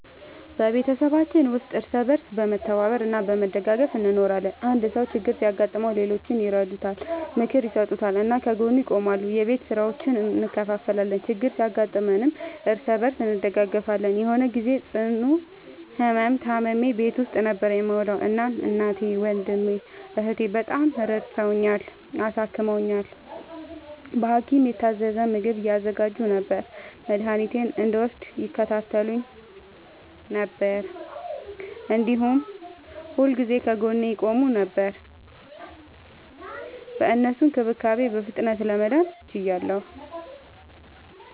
በቤተሰባችን ውስጥ እርስ በርስ በመተባበር እና በመደጋገፍ እንኖራለን። አንድ ሰው ችግር ሲያጋጥመው ሌሎቹ ይረዱታል፣ ምክር ይሰጡታል እና ከጎኑ ይቆማሉ። የቤት ስራዎችን እንከፋፈላለን፣ ችግር ሲያጋጥምም እርስ በርስ እንደጋገፋለን። የሆነ ግዜ ጽኑ ህመም ታምሜ ቤት ውስጥ ነበር የምዉለዉ። እናም እናቴ፣ ወንድሜ፣ እህቴ፣ በጣም ረድተዉኛል፣ አሳክመዉኛል። በሀኪም የታዘዘ ምግብ ያዘጋጁ ነበር፣ መድኃኒቴን እንድወስድ ይከታተሉኝ ነበር፣ እንዲሁም ሁልጊዜ ከጎኔ ይቆሙ ነበር። በእነሱ እንክብካቤ በፍጥነት ለመዳን ችያለሁ።